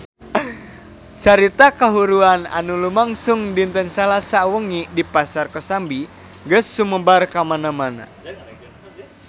Carita kahuruan anu lumangsung dinten Salasa wengi di Pasar Kosambi geus sumebar kamana-mana